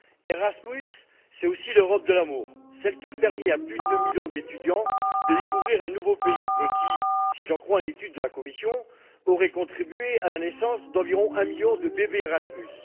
Erasmus, c'est aussi l'Europe de l'amour, celle qui a permis à plus deux millions d'étudiants de découvrir un nouveau pays et qui, si j'en crois une étude de la Commission, aurait contribué à la naissance d'environ un million de bébés Erasmus.